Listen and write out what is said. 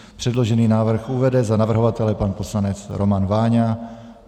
Předložený návrh uvede za navrhovatele pan poslanec Roman Váňa.